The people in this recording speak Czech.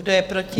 Kdo je proti?